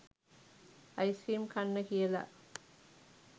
ice cream කන්න කියලා